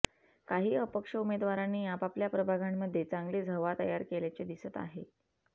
काही अपक्ष उमेदवारांनी आपापल्या प्रभागांमध्ये चांगलीच हवा तयार केल्याचे दिसत आहे